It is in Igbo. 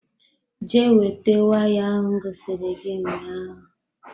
Jee weta waya ahụ m gosiri gị ụnyaahụ